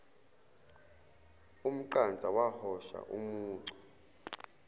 umqansa wahosha umucu